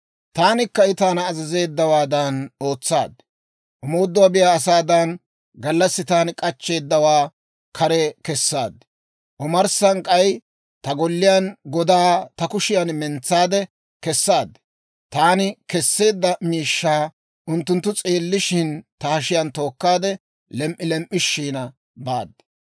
Taanikka I taana azazeeddawaadan ootsaad. Omoodoo biyaa asaadan, gallassi taani k'achcheeddawaa kare kessaad. Omarssan k'ay ta golliyaa godaa ta kushiyan mentsaade kesaad; taani kesseedda miishshaa unttunttu s'eellishshin, ta hashiyaan tookkaade, lem"i lem"ishina baad.